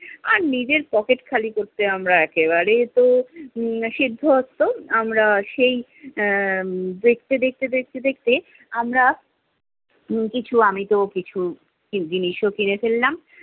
আর নিজের পকেট খালি করতে আমরা একেবারেই তো উম সিদ্ধহস্ত। আমরা সেই আহ দেখতে, দেখতে, দেখতে, দেখতে, আমরা উম আমি তো কিছু জিনিসও কিনে ফেললাম।